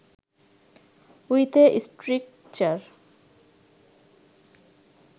with a stricture